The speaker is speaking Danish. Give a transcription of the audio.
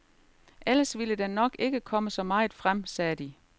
Ellers ville der nok ikke komme så meget frem, sagde de.